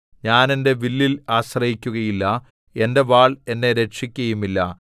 ഞാൻ എന്റെ വില്ലിൽ ആശ്രയിക്കുകയില്ല എന്റെ വാൾ എന്നെ രക്ഷിക്കുകയുമില്ല